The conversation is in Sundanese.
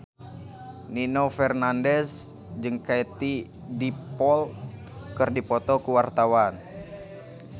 Nino Fernandez jeung Katie Dippold keur dipoto ku wartawan